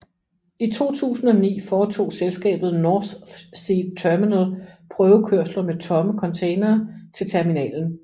I 2009 foretog selskabet NorthSea Terminal prøvekørsler med tomme containere til terminalen